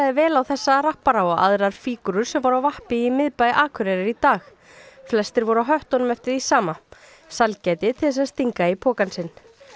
vel á þessa rappara og aðrar fígúrur sem voru á vappi um í miðbæ Akureyrar í dag flestir voru á höttunum eftir því sama sælgæti til þess að stinga í pokann sinn